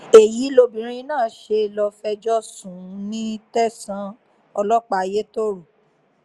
èyí lobìnrin náà ṣe lọ́ọ fẹjọ́ sùn ní tẹ̀sán ọlọ́pàá ayétoro